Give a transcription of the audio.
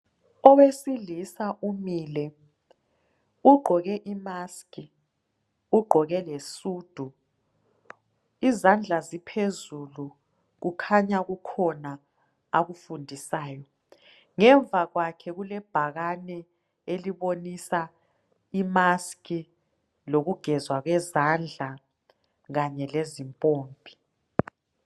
Owesilisa umile ugqoke i-mask lesudu izandla ziphezulu kukhanya kukhona akufundisayo. Ngemva kwakhe kulebhakane elibonisa i-mask lokugezwa kwezandla Kanye lezimpompi